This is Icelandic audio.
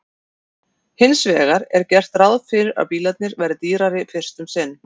Hins vegar er gert ráð fyrir að bílarnir verði dýrari fyrst um sinn.